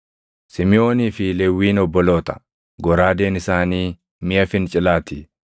“Simiʼoonii fi Lewwiin obboloota; goraadeen isaanii miʼa fincilaa ti.